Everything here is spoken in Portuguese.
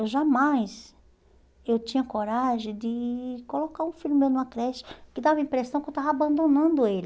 Eu jamais eu tinha coragem de colocar um filho meu numa creche que dava a impressão que eu estava abandonando ele.